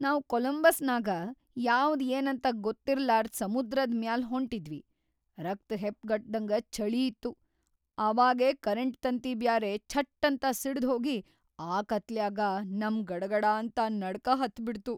ನಾವ್‌ ಕೊಲಂಬಸ್ನಾಗ ಯಾವ್ದ್‌ ಏನಂತ ಗೊತ್ತಿರ್ಲಾರ್ದ್ ಸಮುದ್ರದ್ ಮ್ಯಾಲ್‌ ಹೊಂಟಿದ್ವಿ, ರಕ್ತ್‌ ಹೆಪ್ಗಟ್ಟಂಗ್ ಛಳೀ ಇತ್ತು, ಅವಾಗೇ ಕರೆಂಟ್‌ ತಂತಿ ಬ್ಯಾರೆ ಛಟ್ಟಂತ ಸಿಡ್ದ್‌ಹೋಗಿ ಆ ಕತ್ಲ್ಯಾಗ ನಮ್ಗ್ ಗಡಗಡಾಂತ ನಡ್ಕ ಹತ್ಬಿಡ್ತು.